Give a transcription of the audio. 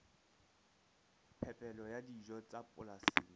phepelo ya dijo tsa polasing